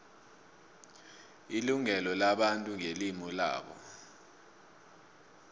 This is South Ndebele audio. ilungelo labantu ngelimu labo